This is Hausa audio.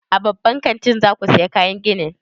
A babban kantin za ku saya kayan gini?